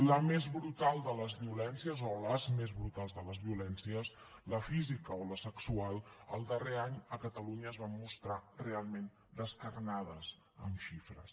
la més brutal de les violències o les més brutals de les violències la física o la sexual el darrer any a catalunya es van mostrar realment descarnades amb xifres